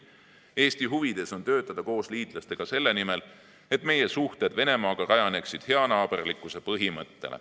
Eesti huvides on töötada koos liitlastega selle nimel, et meie suhted Venemaaga rajaneksid heanaaberlikkuse põhimõttel.